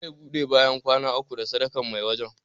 Za a ɓude bayan kwana uku da sadakan mai wajan